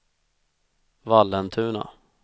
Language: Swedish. Vallentuna